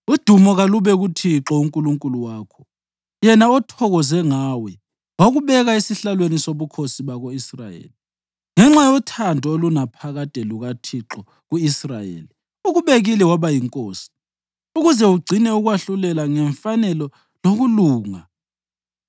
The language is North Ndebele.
Udumo kalube kuThixo uNkulunkulu wakho, yena othokoze ngawe wakubeka esihlalweni sobukhosi bako-Israyeli. Ngenxa yothando olunaphakade lukaThixo ku-Israyeli, ukubekile waba yinkosi, ukuze ugcine ukwahlulela ngemfanelo lokulunga.”